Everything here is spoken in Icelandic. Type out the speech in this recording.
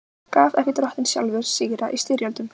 Gaf ekki Drottinn sjálfur sigra í styrjöldum?